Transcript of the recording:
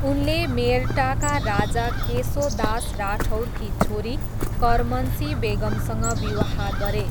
उनले मेर्टाका राजा केसो दास राठौरकी छोरी करमनसी बेगमसँग विवाह गरे।